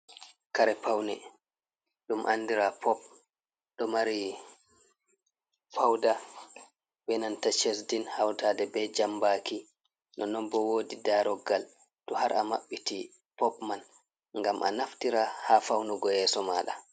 Kare paune, dum andira pop, ɗo mari fawda benanta shesdin, hautade be jambaki, nonnon bo wodi daroggal to har, amaɓɓiti pop man, ngam a naftira ha fawnugo yeso mada.